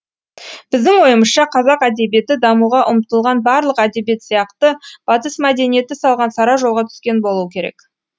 біздің ойымызша қазақ әдебиеті дамуға ұмтылған барлық әдебиет сияқты батыс мәдениеті салған сара жолға түскен болуы керек